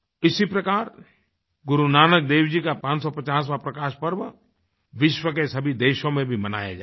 इसी प्रकार गुरु नानक देव जी का 550वाँ प्रकाश पर्व विश्व के सभी देशों में भी मनाया जाएगा